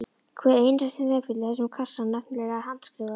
Hver einasti snepill í þessum kassa var nefnilega handskrifaður.